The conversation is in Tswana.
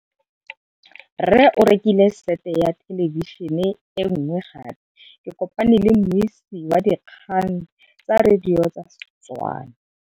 Rre o rekile sete ya thêlêbišênê e nngwe gape. Ke kopane mmuisi w dikgang tsa radio tsa Setswana.